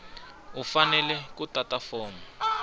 u fanele ku tata fomo